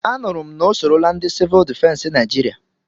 Anụrụ m na o sorola ndị Sivụl difensi Naijiria.